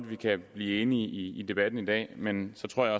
vi kan blive enige i debatten i dag men så tror jeg